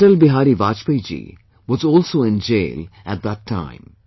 Atal Bihari Vajpayee ji was also in jail at that time